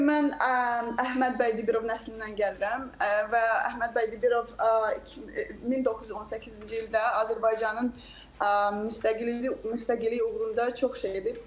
Çünki mən Əhməd bəy Dibirov nəslindən gəlirəm və Əhməd bəy Dibirov 1918-ci ildə Azərbaycanın müstəqilliyi uğrunda çox şey edib.